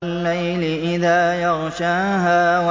وَاللَّيْلِ إِذَا يَغْشَاهَا